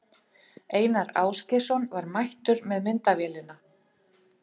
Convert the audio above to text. Einar Ásgeirsson var mættur með myndavélina.